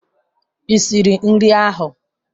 Ị siri nri ahụ?